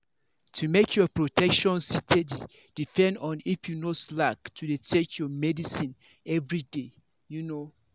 to make your protection steady depend on if you no slack to dey take your medicines everyday. you know.